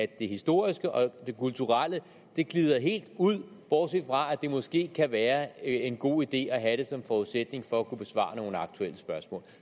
det historiske og det kulturelle glider helt ud bortset fra at det måske kan være en god idé at have det som forudsætning for at kunne besvare nogle aktuelle spørgsmål